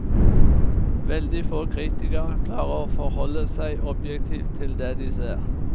Veldig få kritikere klarer å forholde seg objektivt til det de ser.